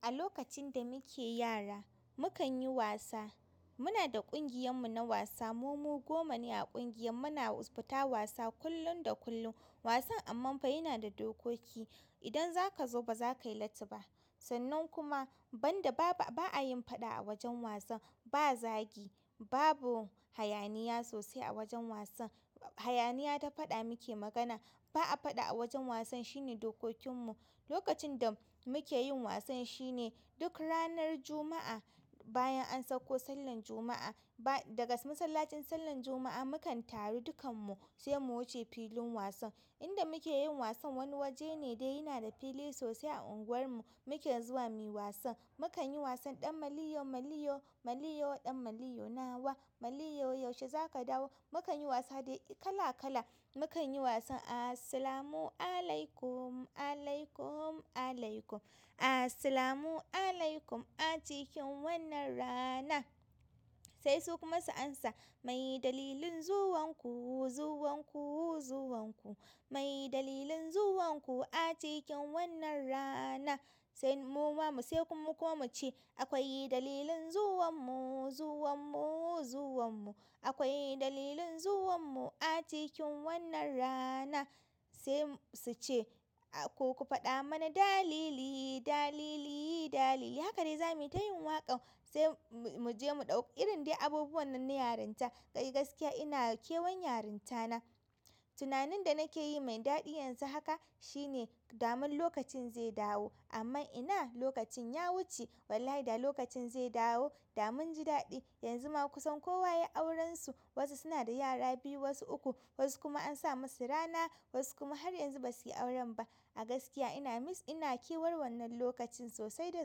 A lokacin da muke yara mukan yi wasa. Muna da ƙungiyar mu na wasa. Mu goma ne a ƙungiyar. Muna fita wasa kullum da kullum. Wasan ammanfa yana da dokoki. Idan zakazo bazakayi latti ba sannan kuma banda, ba a yin faɗa a wajen wasan. Ba zagi, babu hayaniya sosai a wajen wasan. Hayaniya ta faɗa muke magana. Ba a faɗa a wajen wasan shine dokokin mu. Lokacin da muke yin wasan shine duk ranar Juma'a bayan an sauko sallar Juma'a. Daga masallacin sallar juma'a muka. Tay dukkanmu sai mu wuce gun wasan. Inda muke yin wasan wani waje ne dai yana da fili sosai a unguwar mu. Muke zuwa muyi wasan. Mu kan yi wasan ɗan maliyo, maliyo, maliyo, ɗan maliyo nawa, maliyo yaushe za ka dawo. Mu kan yi wasa dai kala kala. Mu kan yi wasan "As-salamu alaykum, alaykum, alaykum, as-salamu alaykum a cikin wannan rana". Sai su kuma su amsa, "Mai dalilin zuwan ku, zuwan ku, zuwan ku. Mai dalilin zuwan ku a cikin wannan rana?" Sai muma sai kuma mu ce, "Akwai dalilin zuwan mu, zuwan mu, zuwan mu. Akwai dalilin zuwan mu a cikin wannan rana." Sai su ce, "Ku ku faɗa mana dalili, dalili, dalili." Haka dai zamu yi, ta yin waƙa sai mu je mu ɗauki. Irin dai abubuwan nan na yarinta. Eh gaskiya ina kewan yarinta na. Tunanin da nake yi mai daɗi yanzu haka shine daman lokacin zai dawo. Amma ina lokacin ya wuce? Wallahi da lokacin zai dawo. Da mun ji daɗi. Yanzu ma kusan kowa yai auransa. Wasu suna da yara biyu, wasu uku, wasu kuma an sa masu rana, wasu kuma har yanzu ba su yi auren ba. A gaskiya ina miss, ina kewar wannan lokacin sosai da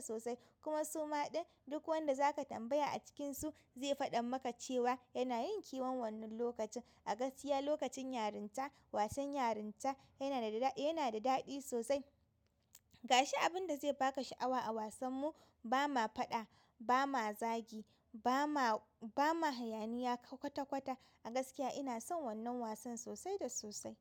sosai. Kuma suma ɗin duk wanda zaka tambaya a cikin su ze faɗe maka cewa yana yin kewar wannan lokacin. A gaskiya lokacin yarinta, wasan yarinta yana da daɗi sosai. Ga shi abin da zai ba ka sha'awa a wasan mu, ba ma faɗa, ba ma zagi, ba ma, ba ma hayaniya kwata kwata. A gaskiya ina son wannan wasan sosai da sosai.